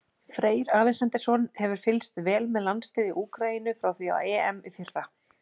Freyr Alexandersson hefur fylgst vel með landsliði Úkraínu frá því á EM í fyrra.